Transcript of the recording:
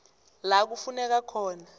la kufuneka khona